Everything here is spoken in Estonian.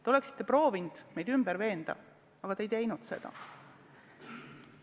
Te oleksite proovinud meid ümber veenda, aga te ei teinud seda.